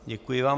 Děkuji vám.